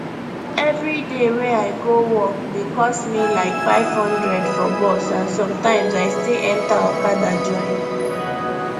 every day wey i go work dey cost me like 500 for bus and sometimes i still enter okada join